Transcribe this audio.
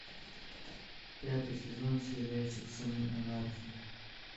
пятый сезон сериальчик сыны анархии